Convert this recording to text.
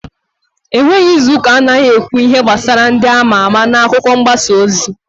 E nweghi izuuka anaghị ekwu ihe gbasara ndị ama ama n'akụkọ mgbasa ozi.